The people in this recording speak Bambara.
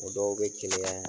O dɔw bɛ keleya.